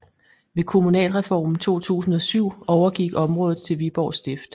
Ved kommunalreformen 2007 overgik området til Viborg Stift